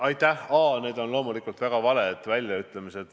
A: need on loomulikult väga valed väljaütlemised.